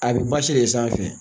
A bɛ basi de sanfɛ